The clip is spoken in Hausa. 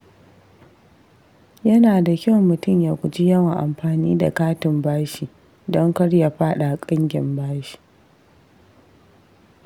Yana da kyau mutum ya guji yawan amfani da katin bashi don kar ya faɗa ƙangin bashi.